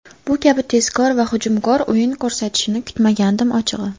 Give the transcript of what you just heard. Bu kabi tezkor va hujumkor o‘yin ko‘rsatishini kutmagandim ochig‘i.